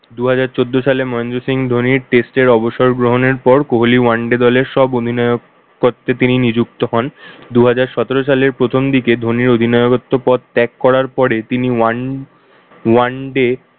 দুহাজার চোদ্দ সালে মহেন্দ্র সিং ধোনির test এর অবসর গ্রহণ এর পর কোহলি one day দলের সব অধিনায়ক পদকে তিনি নিযুক্ত হন। দুহাজার সতেরো সালের প্রথম দিকে ধোনি অধিনায়কত্ব ত্যাগ করার পরে তিনি ওয়ান~ one day